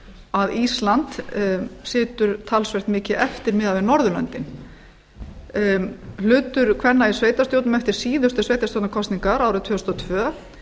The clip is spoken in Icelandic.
að ísland situr talsvert mikið eftir miðað við norðurlöndum hlutur kvenna í sveitarstjórnum eftir síðustu sveitarstjórnarkosningar árið tvö þúsund og tvö